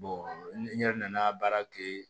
n yɛrɛ nana baara kɛ